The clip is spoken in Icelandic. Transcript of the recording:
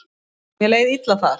Mér leið illa þar.